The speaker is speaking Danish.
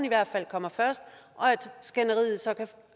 i hvert fald kommer først og at skænderiet så kan